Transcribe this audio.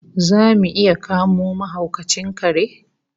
Zamu iya kamo mahaukacin kare?